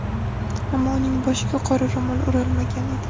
Ammo uning boshiga qora ro‘mol o‘ralmagan edi.